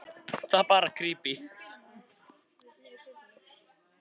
Heimasætan stendur á hlaðinu og horfir á eftir honum lengi.